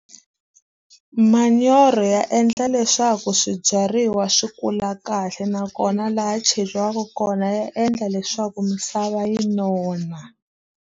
Manyoro ya endla leswaku swibyariwa swi kula kahle nakona laha cheriwaku kona ya endla leswaku misava yi nona.